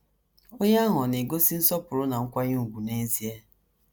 Onye ahụ ọ̀ na - egosi nsọpụrụ na nkwanye ùgwù n’ezie?